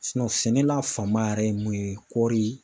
sɛnɛla fanba yɛrɛ ye mun ye kɔɔri.